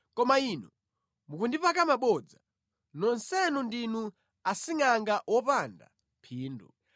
Koma inu mukundipaka mabodza; nonsenu ndinu asingʼanga opanda phindu!